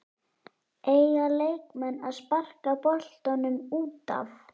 Eiga leikmenn að sparka boltanum útaf?